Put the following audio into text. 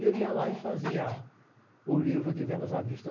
E eu ia lá e fazia o livro de vendas à vista.